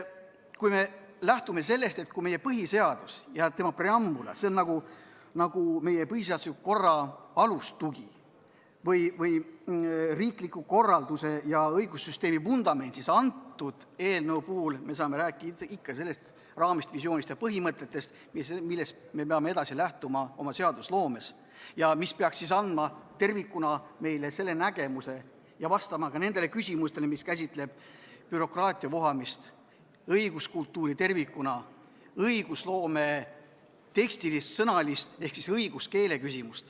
Kui me lähtume sellest, et meie põhiseadus ja tema preambul on meie põhiseadusliku korra alustugi või riikliku korralduse ja õigussüsteemi vundament, siis kõnealuse eelnõu puhul me saame rääkida raamist, visioonist ja põhimõtetest, millest me peame lähtuma seadusloomes ning mis peaks andma meile tervikuna nägemuse ja vastused küsimustele, mis käsitlevad bürokraatia vohamist, õiguskultuuri ning õigusloome tekstilist külge ehk õiguskeelt.